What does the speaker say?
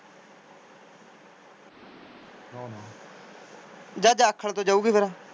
ਜਾ ਜਾਖਲ ਤੋਂ ਜਾਊਗੀ ਫੇਰ।